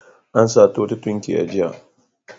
An sato wata tunkiya jiya.